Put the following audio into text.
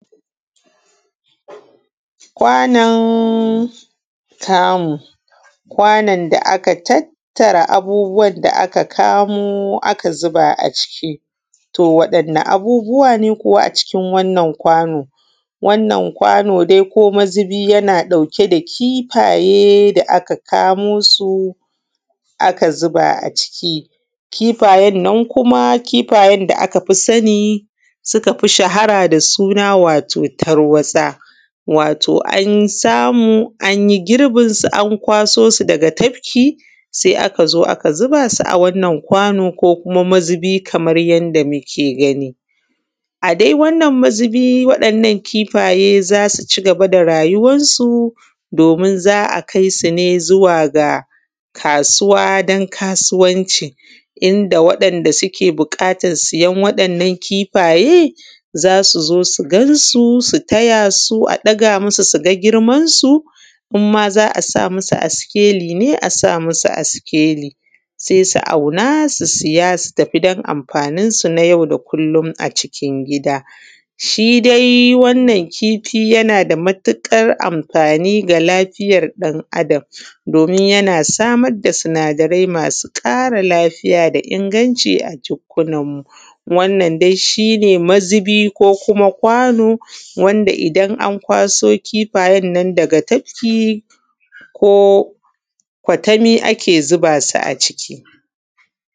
Kwanon tamu. Kwanon da aka tattara abubuwan da aka samo aka zuba a ciki to wa ɗin ni abubuwa ne a wannan kwano, wannan kwano dai ko mazubi yana ɗauke da kifaye da aka kamo su a ka zuba ciki a kifayen nan kuma kifayen da aka fi sani suka fi shahara a da suna wato tarwatsa wato an samu an yi girbinsu a kwaso su daga tafki, se aka zo aka zuba su a wannan kwano ko mazubi kaman yadda muke gani adai wannna mazubi, waɗannan kifaye za su cigaba da rayuwansu domin za a kai su ne zuwa ga kasuwa don kasuwanci. Inda waɗanda suke buƙatan siyan waɗannan kifaye za su zo su gansu su taya su a ɗaga musu su ga girmansu, in ma za a sa musu a sikeli se a sa musu a sikeli, se su auna su siya su tafi dan amfaninsu na yau da kullum a cikin gida. Shi dai wannan kifi yana da matuƙara amfani da lafiyar ɗan’Adam domin yana samar da sinadarai masu ƙara lafiya da inganci a jukkunan mu dan shi ne mazubi ko kuma kwano wanda idan an kwaso kifayen nan daga tafki ko kwatami ake zuba su a ciki.